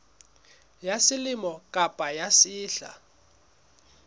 ya selemo kapa ya sehla